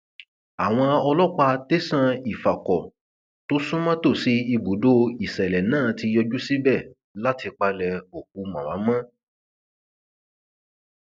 àwọn ọlọpàá tẹsán ifákọ tó sún mọ tòsí ibùdó ìṣẹlẹ náà ti yọjú síbẹ láti palẹ òkú màmá mọ